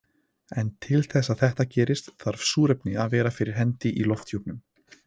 En til þess að þetta gerist þarf súrefni að vera fyrir hendi í lofthjúpnum.